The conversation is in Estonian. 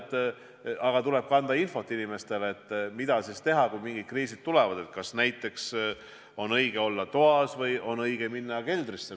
Ja inimestele tuleb anda infot, mida teha, kui mingid kriisid tulevad – kas on õige olla toas või on õige minna keldrisse.